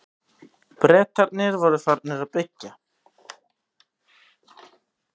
Bretarnir voru farnir að byggja.